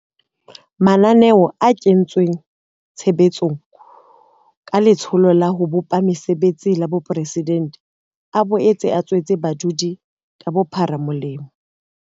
Mananeo a kentsweng tshe betsong ka Letsholo la ho Bopa Mesebetsi la Boporesidente a boetse a tswetse badudi ka bophara molemo.